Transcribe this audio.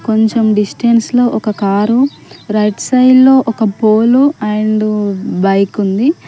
కొంచెం డిస్టెన్స్ లో ఒక కారు రైట్ సైడ్ లో ఒక పోలు అండ్ బైక్ ఉంది.